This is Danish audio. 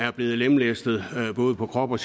er blevet lemlæstet både på krop og